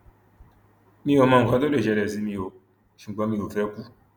mi ò mọ nǹkan tó lè ṣẹlẹ sí mi o ṣùgbọn mi ò fẹẹ kú